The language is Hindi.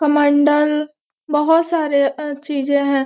कमंडल बहोत सारे और चीजें हैं।